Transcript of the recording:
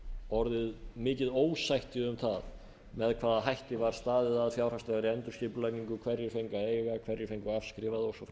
orðið mikið ósætti um það með hvaða hætti var staðið að fjárhagslegri endurskipulagning hverjir fengu að eiga hverjir fengu afskrifað og